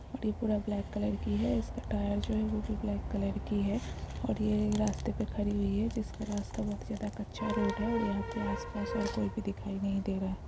और ये पूरा ब्लैक कलर की है इसकी टायर जो है वो भी पुरा ब्लैक कलर की है ओर ये रास्ते पर खड़ी हुई है जिसका रास्ता बहुत ज्यादा कच्चा रोड है और यहां पर आस-पास कोई दिखाई नहीं दे रहा है।